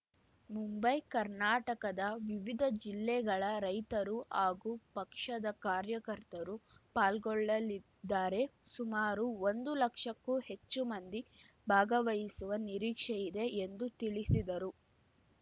ಮುಂಬೈ ಕರ್ನಾಟಕದ ವಿವಿಧ ಜಿಲ್ಲೆಗಳ ರೈತರು ಹಾಗೂ ಪಕ್ಷದ ಕಾರ್ಯಕರ್ತರು ಪಾಲ್ಗೊಳ್ಳಲಿದ್ದಾರೆ ಸುಮಾರು ಒಂದು ಲಕ್ಷಕ್ಕೂ ಹೆಚ್ಚು ಮಂದಿ ಭಾಗವಹಿಸುವ ನಿರೀಕ್ಷೆಯಿದೆ ಎಂದು ತಿಳಿಸಿದರು